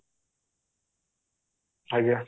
ଆଜ୍ଞା